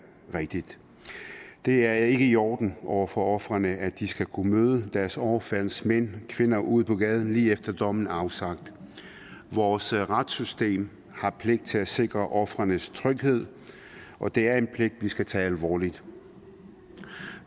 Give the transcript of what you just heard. rigtigt det er ikke i orden over for ofrene at de skal kunne møde deres overfaldsmænd kvinder ude på gaden lige efter dommen er afsagt vores retssystem har pligt til at sikre ofrenes tryghed og det er en pligt vi skal tage alvorligt